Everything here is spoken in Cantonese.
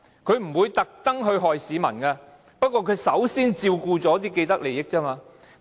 它是不會故意害市民的，只是首先照顧既得利益者而已。